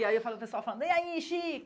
E aí eu falando o pessoal falando, e aí, Chico?